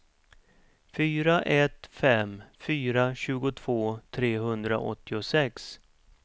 fyra ett fem fyra tjugotvå trehundraåttiosex